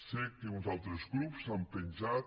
sé que uns altres grups s’han penjat